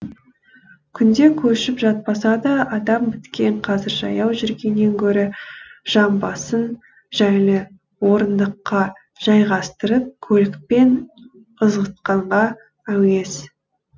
күнде көшіп жатпаса да адам біткен қазір жаяу жүргеннен гөрі жамбасын жайлы орындыққа жайғастырып көлікпен ызғытқанға әуес